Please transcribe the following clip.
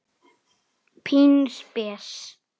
Pínu spes.